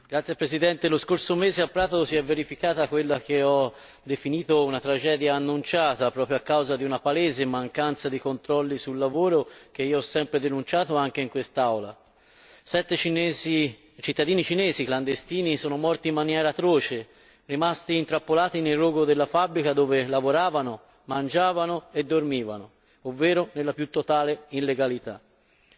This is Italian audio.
Signor Presidente, onorevoli colleghi, lo scorso mese a Prato si è verificata quella che ho definito una tragedia annunciata, proprio a causa di una palese mancanza di controlli sul lavoro, che io ho sempre denunciato anche in quest'Aula. Sette cittadini cinesi clandestini sono morti in maniera atroce, rimasti intrappolati nel rogo della fabbrica dove lavoravano, mangiavano e dormivano, ovvero nella più totale illegalità.